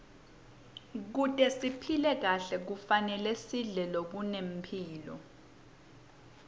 kute siphile kahle kufanele sidle lokunemphilo